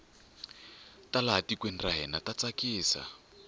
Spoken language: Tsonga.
ta laha tikweni ra hina ta tsakisa